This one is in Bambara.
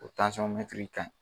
O kaɲi